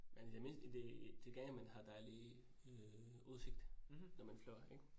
Men i det mindste i det til gengæld man har dejlig øh udsigt, når man flyver ik?